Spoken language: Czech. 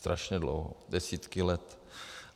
Strašně dlouho, desítky let.